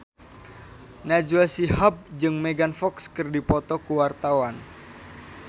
Najwa Shihab jeung Megan Fox keur dipoto ku wartawan